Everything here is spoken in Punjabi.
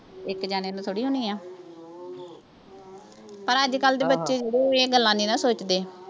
ਇੱਕ ਜਾਣੇ ਨੂੰ ਥੋੜ੍ਹੀ ਹੋਣੀ ਹੈ, ਪਰ ਅੱਜਕੱਲ੍ਹ ਦੇ ਬੱਚੇ ਇਹ ਗੱਲਾਂ ਨਹੀਂ ਨਾ ਸੋਚਦੇ।